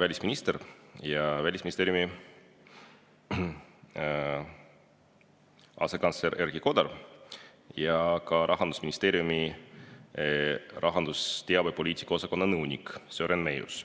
välisminister ja Välisministeeriumi asekantsler Erki Kodar ning ka Rahandusministeeriumi rahandusteabe poliitika osakonna nõunik Sören Meius.